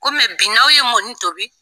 Kɔmi bi n'aw ye mɔni tobi